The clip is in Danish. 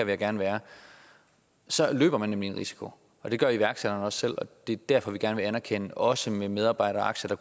man gerne være så løber man nemlig en risiko det gør iværksætteren også selv og det er derfor vi gerne vil anerkende det også med medarbejderaktier der